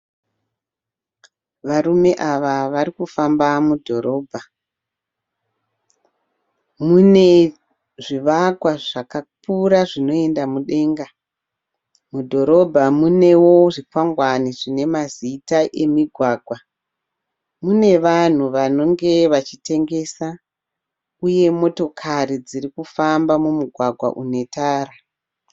Varume ava varikufamba mudhorobha. Mune zvivakwa zvakakura zvinoenda mudenga. Mudhorobha mune wo zvikwangwani zvine mazita emigwagwa . Mune vanhu vanhu vanenge vachitengesa uye motokari dzirikuifamba mumugwgwa une tara